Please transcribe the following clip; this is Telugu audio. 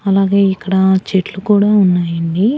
అలాగే ఇక్కడ చెట్లు కూడా ఉన్నాయండి.